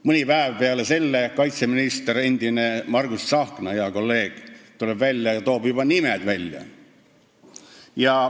Mõni päev hiljem tuleb välja endine kaitseminister, hea kolleeg Margus Tsahkna, kes esitab juba nimed.